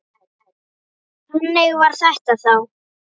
Þannig var þetta þá.